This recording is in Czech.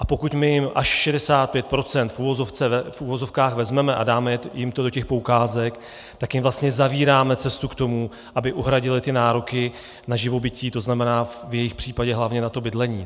A pokud my jim až 65 % v uvozovkách vezmeme a dáme jim to do těch poukázek, tak jim vlastně zavíráme cestu k tomu, aby uhradili ty nároky na živobytí, to znamená, v jejich případě hlavně na bydlení.